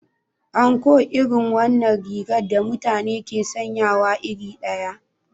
Anko irin wannan rigar da mutane ke sanyawa iri ɗaya.